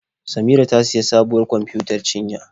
Samira ta sayi sabuwar kwamfiyutar cinya.